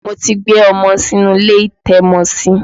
Mo ti gbé ọmọ sínú ilé ìtẹ́mọsí.